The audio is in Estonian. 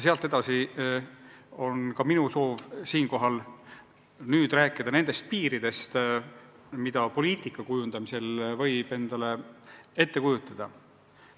Nii ongi minu soov siinkohal nüüd rääkida nendest piiridest, mida poliitika kujundamisel võib endale ette kujutada.